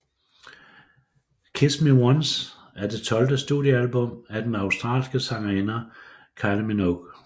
Kiss Me Once er det tolvte studiealbum af den australske sangerinde Kylie Minogue